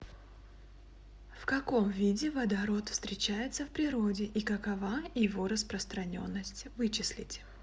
в каком виде водород встречается в природе и какова его распространенность вычислите